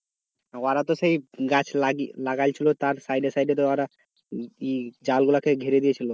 ওরা তো সেই গাছ গেছে লাগিয়ে~লাগিয়েছিল তো side side তো ওরা ই ই চাল গুলা কে ঘেরে দিয়েছিলো.